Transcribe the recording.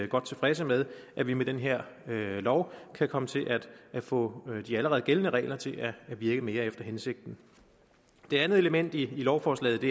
godt tilfredse med at vi med den her lov kan komme til at få de allerede gældende regler til at virke mere efter hensigten det andet element i lovforslaget